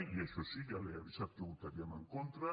i això sí ja l’he avisat que hi votaríem en contra